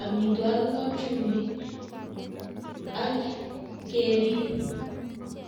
amitwogik ak chumbik ak kerib.